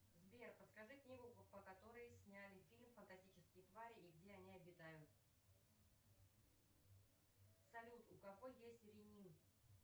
сбер подскажи книгу по которой сняли фильм фантастические твари и где они обитают салют у кого есть ренин